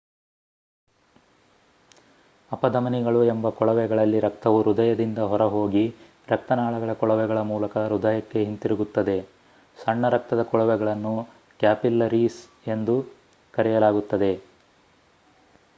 ಅಪಧಮನಿಗಳು ಎಂಬ ಕೊಳವೆಗಳಲ್ಲಿ ರಕ್ತವು ಹೃದಯದಿಂದ ಹೊರ ಹೋಗಿ ರಕ್ತನಾಳಗಳ ಕೊಳವೆಗಳ ಮೂಲಕ ಹೃದಯಕ್ಕೆ ಹಿಂತಿರುಗುತ್ತದೆ ಸಣ್ಣ ರಕ್ತದ ಕೊಳವೆಗಳನ್ನು ಕ್ಯಾಪಿಲ್ಲರೀಸ್ ಎಂದು ಕರೆಯಲಾಗುತ್ತದೆ